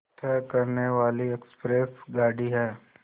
तय करने वाली एक्सप्रेस गाड़ी है